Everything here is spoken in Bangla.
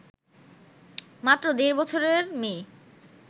মাত্র দেড় বছরের মেয়ে